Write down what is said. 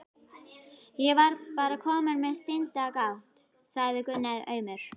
Ég var bara kominn með sinadrátt, sagði Gunni aumur.